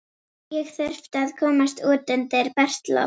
Ég þurfti að komast út undir bert loft.